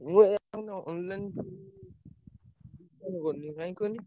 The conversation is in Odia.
ମୁଁ ଏତେ ନୁହଁ online ଫନଲାଇନ କରୁନି କାହିଁକି କହିଲ?